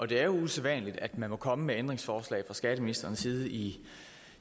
det er usædvanligt at man kan komme med ændringsforslag fra skatteministerens side i